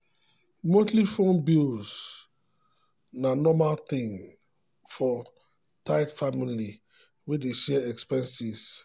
monthly phone bills na normal thing for tight family wey dey share expenses.